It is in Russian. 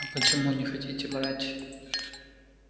а почему не хотите брать